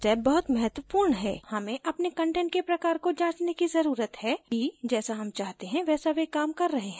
लेकिन यह step बहुत महत्वपूर्ण है हमें अपने कंटेंट के प्रकार को जाँचने की ज़रुरत हैं कि जैसा हम चाहते हैं वैसा वे काम कर रहे हैं या नही